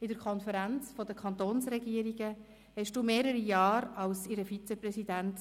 In der Konferenz der Kantonsregierungen (KdK) hast du mehrere Jahre als Vizepräsident